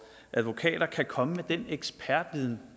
advokater kan komme med den ekspertviden